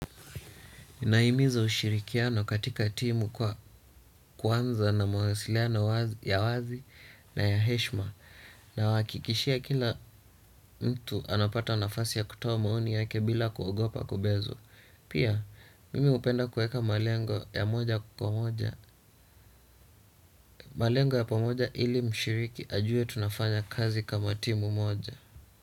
Inaimizo ushirikiano katika timu kwa kwanza na mawasiliano ya wazi na ya heshma. Nawakikishia kila mtu anapata nafasi ya kutowa maoni yake bila kuogopa kubezo. Pia, mimi upenda kueka malengo ya moja kukwa moja. Malengo ya pamoja ili mshiriki ajue tunafanya kazi kama timu moja.